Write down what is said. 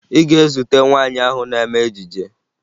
Ị ga-ezute nwaanyị ahụ na-eme ejije